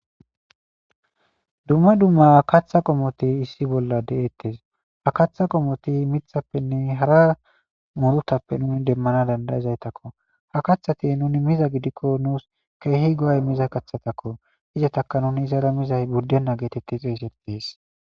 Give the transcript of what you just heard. Dumma dumma kaththa qommothi issi bolla de7eeththes; ha kaththa qommothi miththappenne hara hara muruthappenne demmana danddayizaythako;ha kaththathi nuuni miza gidikko nuus keehi go7a immiza kaththatha koo;izathakka nuuni zera mizay buddena gi xeeseththes.